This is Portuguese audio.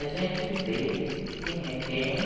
É. A gente vê quem é quem